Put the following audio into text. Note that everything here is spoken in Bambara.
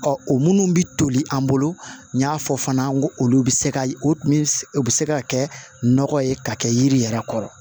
o minnu bɛ toli an bolo n y'a fɔ fana n ko olu bɛ se ka o min o bɛ se ka kɛ nɔgɔ ye ka kɛ yiri yɛrɛ kɔrɔ